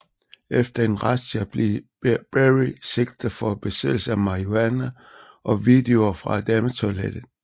Efter en razzia blev Berry sigtet for besiddelse af marihuana og videoer fra dametoilettet